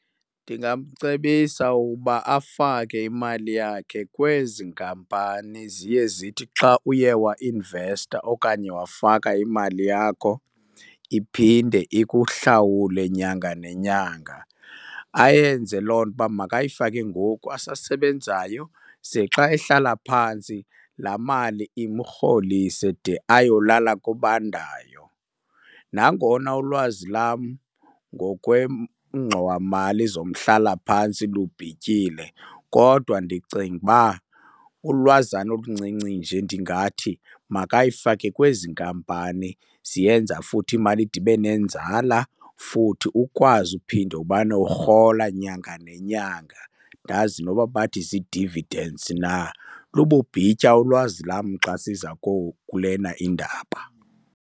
Ndingamcebisa ukuba afake imali yakhe kwezi nkampani ziye zithi xa uye wainvesta okanye wafaka imali yakho iphinde ikuhlawule nyanga nenyanga. Ayenze loo nto uba makayifake ngoku asasebenzayo, ze xa ehlala phantsi laa mali imrholise de ayolala kobandayo. Nangona ulwazi lam kwengxowa mali zomhlalaphantsi lubhityile kodwa ndicinga uba ulwazana oluncinci nje ndingathi makayifake kwezi nkampani ziyenza futhi imali ide ibe nenzala, futhi ukwazi uphinde ubana urhola nyanga nenyanga. Andazi noba bathi zii-dividends na. Lububhitya ulwazi lam xa siza kulena indaba.